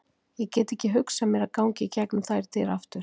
Ég get ekki hugsað mér að ganga í gegnum þær dyr aftur.